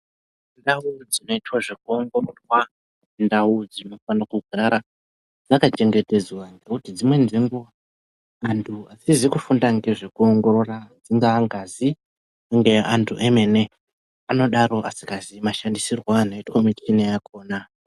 Ndau dzinoita zvokuongororwa indau dzinofano kugara dzakachengetedzwa, ngokuti dzimweni dzenguwa, antu atizi kufunda ngezvekuongorora, ingaa ngazi, ngeantu emene, anodaro asikazii mashandisirwo anoitwa mishina yakhona.